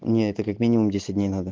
не это как минимум десять дней надо